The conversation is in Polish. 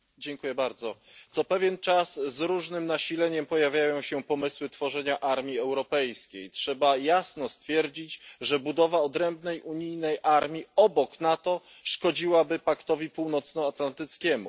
Pani Przewodnicząca! Co pewien czas z różnym nasileniem pojawiają się pomysły tworzenia armii europejskiej. Trzeba jasno stwierdzić, że budowa odrębnej unijnej armii obok NATO szkodziłaby Paktowi Północnoatlantyckiemu.